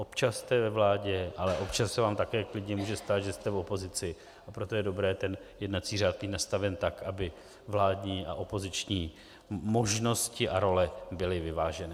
Občas jste ve vládě, ale občas se vám také klidně může stát, že jste v opozici, a proto je dobré ten jednací řád mít nastaven tak, aby vládní a opoziční možnosti a role byly vyvážené.